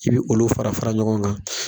I be olu fara fara ɲɔgɔn kan